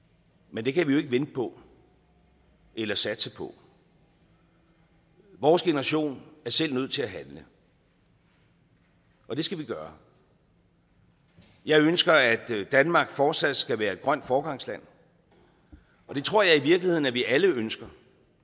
men det kan vi jo ikke vente på eller satse på vores generation er selv nødt til at handle og det skal vi gøre jeg ønsker at danmark fortsat skal være et grønt foregangsland det tror jeg i virkeligheden at vi alle ønsker